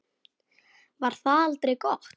Var það aldrei gott?